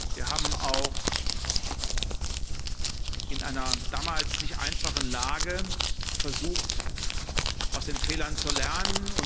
Wir haben auch in einer damals nicht einfachen Lage versucht, aus den Fehlern zu lernen.